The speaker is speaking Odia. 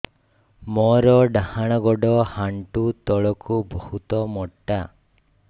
ମୋର ଡାହାଣ ଗୋଡ ଆଣ୍ଠୁ ତଳୁକୁ ବହୁତ ମୋଟା